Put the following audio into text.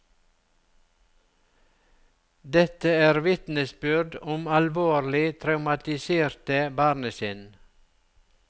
Dette er vitnesbyrd om alvorlig traumatiserte barnesinn.